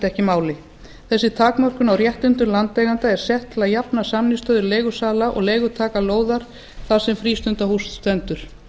ekki máli þessi takmörkun á réttindum landeigenda er sett til að jafna samningsstöðu leigusala og leigutaka lóðar þar sem frístundahús stendur